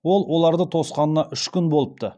ол оларды тосқанына үш күн болыпты